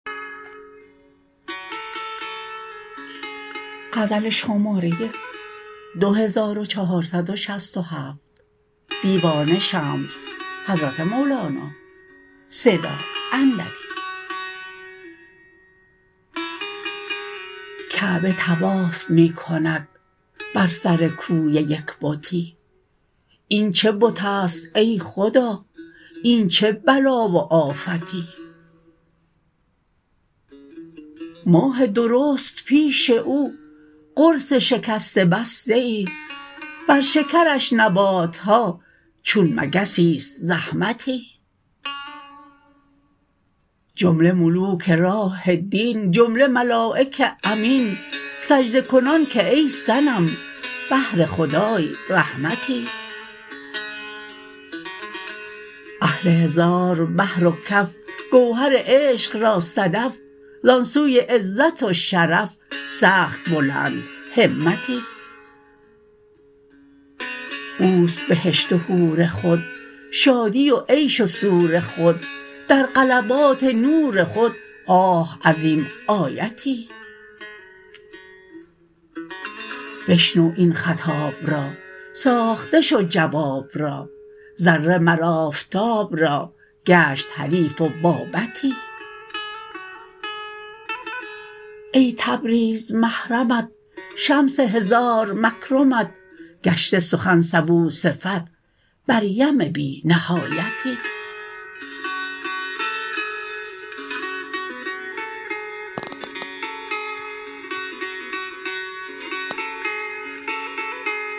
کعبه طواف می کند بر سر کوی یک بتی این چه بتی است ای خدا این چه بلا و آفتی ماه درست پیش او قرص شکسته بسته ای بر شکرش نبات ها چون مگسی است زحمتی جمله ملوک راه دین جمله ملایک امین سجده کنان که ای صنم بهر خدای رحمتی اهل هزار بحر و کف گوهر عشق را صدف زان سوی عزت و شرف سخت بلندهمتی او است بهشت و حور خود شادی و عیش و سور خود در غلبات نور خود آه عظیم آیتی بشنو این خطاب را ساخته شو جواب را ذره مر آفتاب را گشت حریف و بابتی ای تبریز محرمت شمس هزار مکرمت گشته سخن سبوصفت بر یم بی نهایتی